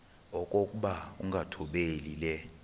okokuba ukungathobeli le